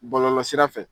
Bɔlɔlɔsira fɛ